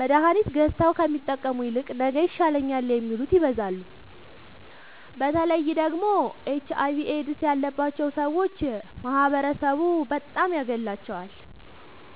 መድሀኒት ገዝተዉ ከሚጠቀሙ ይልቅ ነገ ይሻለኛል የሚሉት ይበዛሉ። በተለይ ደግሞ ኤች አይቪ ኤድስ ያባቸዉ ሠዎች ማህበረሡ በጣም ያገላቸዋል።